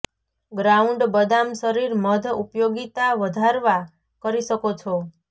ground બદામ શરીર મધ ઉપયોગીતા વધારવા કરી શકો છો